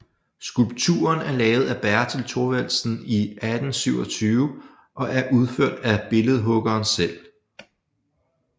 Skulpturen er lavet af Bertel Thorvaldsen i 1827 og er udført af billedhuggeren selv